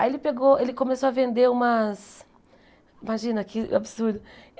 Aí ele pegou ele começou a vender umas... Imagina que absurdo.